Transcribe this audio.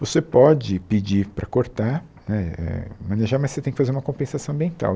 Você pode pedir para cortar né eh, manejar, mas você tem que fazer uma compensação ambiental.